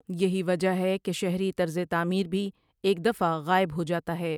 یہی وجہ ہے کہ شہری طرز تعمیر بھی ایک دفعہ غائب ہوجاتا ہے ۔